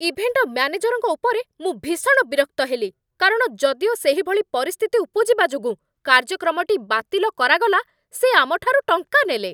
Event ମ୍ୟାନେଜରଙ୍କ ଉପରେ ମୁଁ ଭୀଷଣ ବିରକ୍ତ ହେଲି କାରଣ ଯଦିଓ ସେହିଭଳି ପରିସ୍ଥିତି ଉପୁଜିବା ଯୋଗୁଁ କାର୍ଯ୍ୟକ୍ରମଟି ବାତିଲ କରାଗଲା ସେ ଆମଠାରୁ ଟଙ୍କା ନେଲେ।